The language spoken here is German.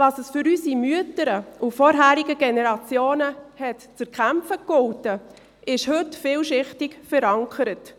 Was es für unsere Mütter und die Generationen davor zu erkämpfen galt, ist heute vielschichtig verankert.